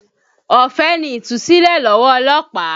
Ọ̀fẹ́ ni Ìtúsílẹ̀ lọ́wọ́ ọlọ́pàá